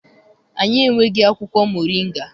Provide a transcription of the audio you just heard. Anyị enweghị akwụkwọ moringa.